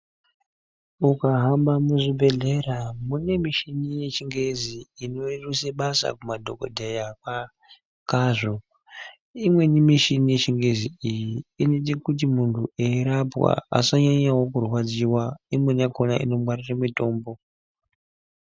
Ukahamba muzvibhedhlera mune mishini yechingezi inorumbise basa kumadhokodheya kwazvo imweni mishini yechingezi iyi inoite kuti munthu eirapwa asanyanyawo kurwadziwa imweni yakona inongwarire mitombo.